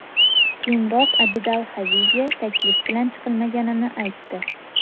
Keyinroq Abidal Xaviga taklif bilan chiqilmaganini aytdi.